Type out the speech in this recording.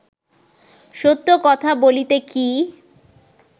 সত্য কথা বলিতে কি